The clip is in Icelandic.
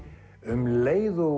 um leið og